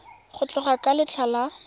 go tloga ka letlha le